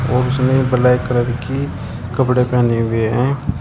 और उसने black colour की कपड़े पहने हुए हैं।